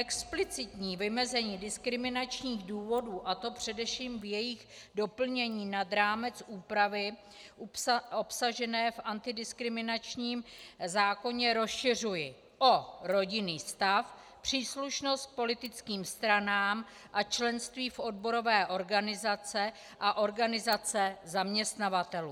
Explicitní vymezení diskriminačních důvodů, a to především v jejich doplnění nad rámec úpravy obsažené v antidiskriminačním zákoně, rozšiřuji o rodinný stav, příslušnost k politickým stranám a členství v odborové organizaci a organizace zaměstnavatelů.